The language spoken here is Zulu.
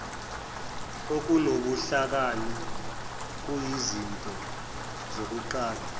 okunobuhlakani kuyizinto zokuqala